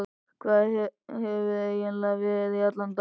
Hvar hefurðu eiginlega verið í allan dag?